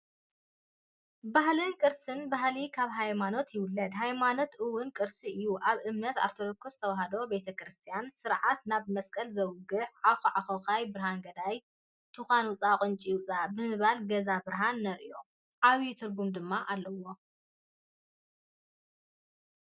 ባህልን ቅርስን፡- ባህሊ ካብ ሃይማኖት ይውለድ፡፡ ሃይማኖት ውን ቅርሲ እዩ፡፡ ኣብ እምነት ኦርቶዶክስ ተዋህዶ ቤተ ክርስትያን ስርዓት ናብ መስቀል ዘውግሕ "ዓኾዓኾዃይ ብርሃን ገዳይ ትኳን ውፃእ ቁንጪ ውፃእ" ብምባል ገዛና ብርሃን ነርእዮ፡፡ ዓብይ ትርጉም ድማ ኣለዎ፡፡